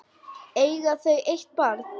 Eiga þau eitt barn.